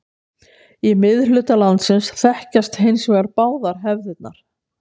Í miðhluta landsins þekkjast hins vegar báðar hefðirnar.